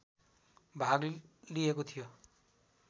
भाग लिएको थियो